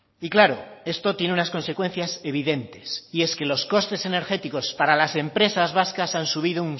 y claro esto tiene unas consecuencias evidentes y es que los costes energéticos para las empresas vascas han subido